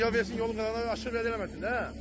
O birə yol versin, yolun qırağına aşırıb verə bilməsin də.